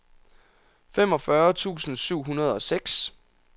femogfyrre tusind syv hundrede og seks